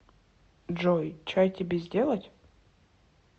джой чай тебе сделать